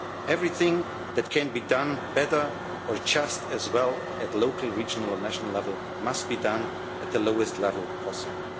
monotony. Everything that can be done better or just as well at local, regional and national level must be done at the lowest level